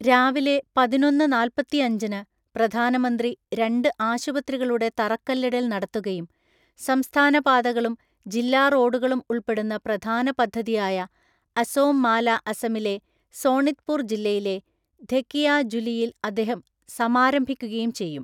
രാവിലെ പതിനൊന്നു നാല്‍പ്പത്തഞ്ചിനു പ്രധാനമന്ത്രി രണ്ട് ആശുപത്രികളുടെ തറക്കല്ലിടൽ നടത്തുകയും സംസ്ഥാന പാതകളും, ജില്ലാ റോഡുകളും ഉൾപ്പെടുന്ന പ്രധാന പദ്ധതിയായ അസോം മാല അസമിലെ സോണിത്പൂർ ജില്ലയിലെ ധെകിയജുലിയിൽ അദ്ദേഹം സമാരംഭിക്കുകയും ചെയ്യും.